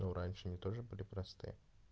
ну раньше они тоже были просты